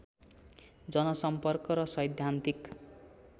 जनसम्पर्क र सैद्धान्तिक